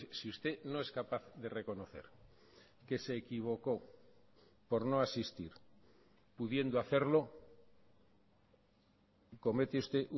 si usted no es capaz de reconocer que se equivocó por no asistir pudiendo hacerlo comete usted